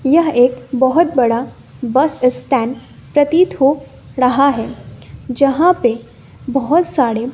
यह एक बोहोत बड़ा बस स्टैंड प्रतीत हो ड़हा हैं जहां पे बोहोत साड़े --